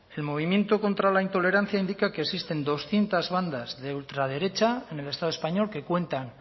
el movimiento contra la intolerancia indica que existen doscientos bandas de ultraderecha en el estado español que cuentan